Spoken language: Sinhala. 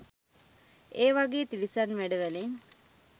ඒ වගේ තිරිසන් වැඩ වලින්